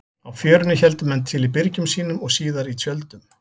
Á Fjörunni héldu menn til í byrgjum sínum og síðar í tjöldum.